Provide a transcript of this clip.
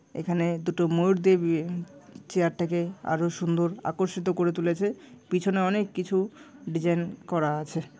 এখানে দুটো ময়ূর দিবে চেয়ার টাকে আরো সুন্দর আকর্ষিত করে তুলেছে পিছনে অনেক কিছু ডিজাইন করা আছে ।